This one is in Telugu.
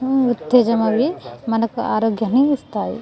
అవి ఉస్తయము అది మనకు ఆరోయగము ఎస్త్క్ది